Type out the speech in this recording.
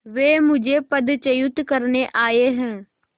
वे मुझे पदच्युत करने आये हैं